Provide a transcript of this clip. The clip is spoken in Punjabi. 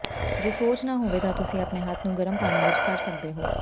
ਜੇ ਸੋਜ ਨਾ ਹੋਵੇ ਤਾਂ ਤੁਸੀਂ ਆਪਣੇ ਹੱਥ ਨੂੰ ਗਰਮ ਪਾਣੀ ਵਿਚ ਫੜ ਸਕਦੇ ਹੋ